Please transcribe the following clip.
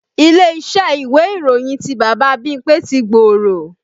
Ilé-iṣẹ́ ìwé ìròyìn ti Bàbá Bímpé ti gbòòrò